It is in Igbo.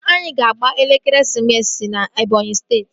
Anyị ga-agba ekeresimesi na Ebọnyi steeti